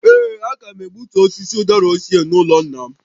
Ee, a ga m egbutu osisi ụdara ochie n’ụlọ nna m